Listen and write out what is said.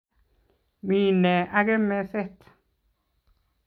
Mi new age meset?